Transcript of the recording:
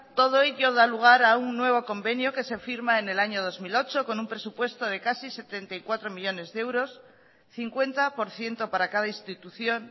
todo ello da lugar a un nuevo convenio que se firma en el año dos mil ocho con un presupuesto de casi setenta y cuatro millónes de euros cincuenta por ciento para cada institución